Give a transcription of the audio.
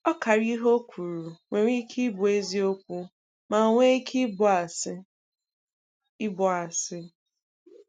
Ọkara ihe o kwuru nwere ike ịbụ eziokwu ma nwee ike ịbụ asị. ịbụ asị.